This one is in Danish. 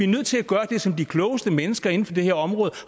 nødt til at gøre det som de klogeste mennesker inden for det her område